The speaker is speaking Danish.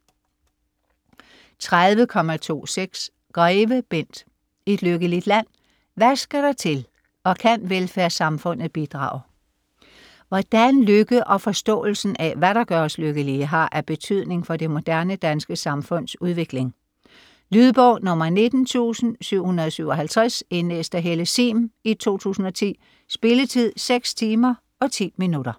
30.26 Greve, Bent: Et lykkeligt land?: hvad skal der til og kan velfærdssamfundet bidrage? Hvordan lykke og forståelsen af, hvad der gør os lykkelige, har af betydning for det moderne danske samfunds udvikling. Lydbog 19757 Indlæst af Helle Sihm, 2010. Spilletid: 6 timer, 10 minutter.